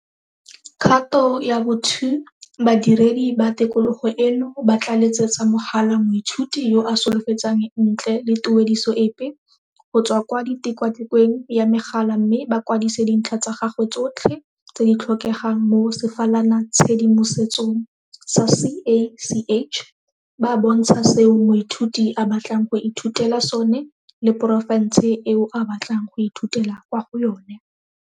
Kgato ya bo 2. Badiredi ba tikologo eno ba tla letsetsa mogala moithuti yo a solofetsang ntle le tuediso epe, go tswa kwa tikwatikweng ya megala mme ba kwadise dintlha tsa gagwe tsotlhe tse di tlhokegang mo sefalanatshedimosetsong sa CACH, ba bontsha seo moithuti a batlang go ithutela sone le porofense eo a batlang go ithutela kwa go yona.